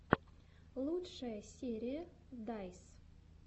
лучшая серия дайс